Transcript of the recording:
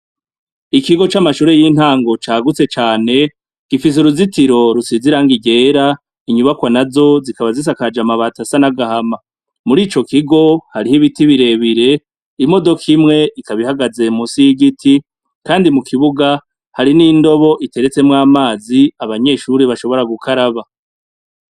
Ikigo c'amashure y'intango cagutse cane gifise uruzitiro rusize irangi ryera inyubakwa nazo zikaba zisakajwe amabati asa n'agahama murico kigo hariho n'ibiti bire bire, imodoka imwe ikaba ihagaze munsi y'igiti kandi mukibuga hari n'indobo iteretswemwo amazi abanyeshure bashobora gukaraba.